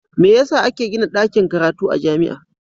Me yasa ake Gina dakin karatu a jamia